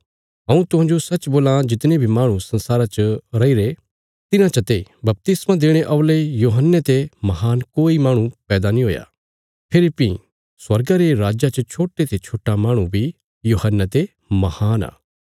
हऊँ तुहांजो सच्च बोलां जितने बी माहणु संसारा च रैईरे तिन्हां चते बपतिस्मा देणे औल़े यूहन्ने ते महान कोई माहणु पैदा नीं हुया फेरी भीं स्वर्गा रे राज्जा च छोट्टे ते छोट्टा माहणु बी यूहन्ने ते महान आ